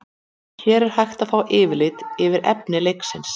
hér er hægt er að fá yfirlit yfir efni leiksins